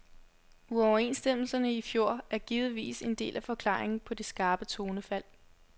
Uoverenstemmelserne i fjor er givetvis en del af forklaringen på det skarpe tonefald.